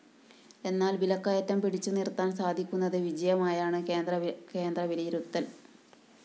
എന്നാല്‍ വിലക്കയറ്റം പിടിച്ചു നിര്‍ത്താന്‍ സാധിക്കുന്നത് വിജയമായാണ് കേന്ദ്രവിലയിരുത്തല്‍